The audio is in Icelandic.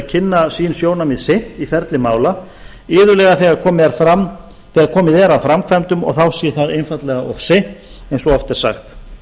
að kynna sín sjónarmið seint í ferli mála iðulega þegar komið er að framkvæmdum og þá sé það einfaldlega of seint eins og oft er sagt